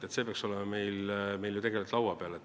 See idee peaks olema meil ju laua peal.